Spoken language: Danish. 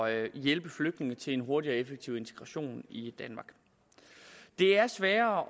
at hjælpe flygtninge til en hurtig og effektiv integration i danmark det er sværere